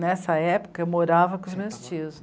Nessa época, eu morava com os meus tios.